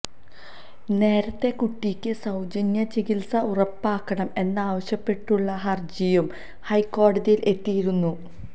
നേരത്തെ കുട്ടിക്ക് സൌജന്യ ചികിത്സ ഉറപ്പാക്കണം എന്നാവശ്യപ്പെട്ടുള്ള ഹർജിയും ഹൈക്കോടതിയിൽ എത്തിയിരുന്നു